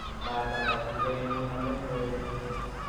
mataaro kukeny kuuname yoe